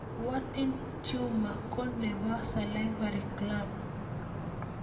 Warthin tumor ko nepo salivary gland